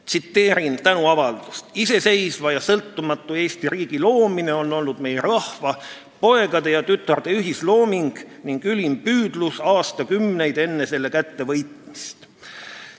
Tsiteerin tänuavaldust: "Iseseisva ja sõltumatu Eesti riigi rajamine on olnud meie rahva poegade ja tütarde ühislooming ning ülim püüdlus aastakümneid enne selle kättevõitmist.